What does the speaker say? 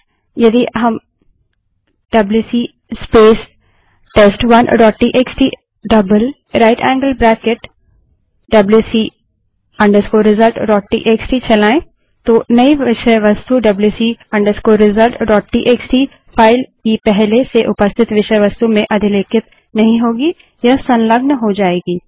इसके बजाय यदि हम WC space test one dot TXT right angled bracket twice WC result dot TXT WC space test one TXT right angled bracket twice wc results TXT चलायें तो नई विषय वस्तु WC result dot TXT wc results TXT file की पहले से उपस्थित विषय वस्तु में अधिलेखित नहीं होगी यह संलग्न हो जायेगी